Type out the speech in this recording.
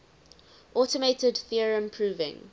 automated theorem proving